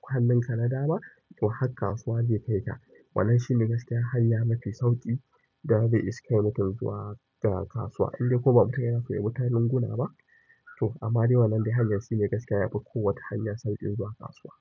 kwana. Hannun ka na dama, to har kasuwa zai kai ka. Wannan shi ne gaskiya hanya mafi sauƙi da zai iske mutum zuwa garin kasuwa. Idan ko ba mu ta yana koyar wa mutane gunaba to amma dai wannan be hanyar shi ne gaskiya yafi kowace hanya sauƙin zuwa kasuwa.